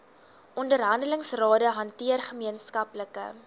onderhandelingsrade hanteer gemeenskaplike